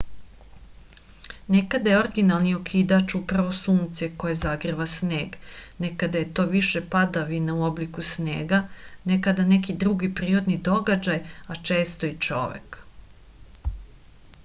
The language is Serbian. nekada je originalni okidač upravo sunce koje zagreva sneg nekada je to više padavina u obliku snega nekada neki drugi prirodni događaji a često i čovek